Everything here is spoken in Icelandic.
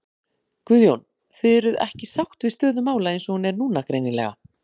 Guðjón: Þið eruð ekki sátt við stöðu mála eins og hún er núna greinilega?